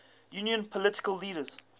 union political leaders